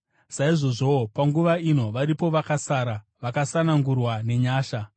Saizvozvowo, panguva ino varipo vakasara, vakasanangurwa nenyasha.